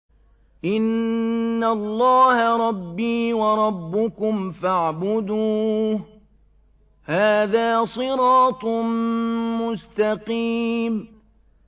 إِنَّ اللَّهَ رَبِّي وَرَبُّكُمْ فَاعْبُدُوهُ ۗ هَٰذَا صِرَاطٌ مُّسْتَقِيمٌ